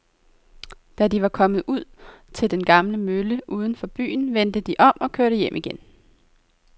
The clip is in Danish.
Da de var kommet ud til den gamle mølle uden for byen, vendte de om og kørte hjem igen.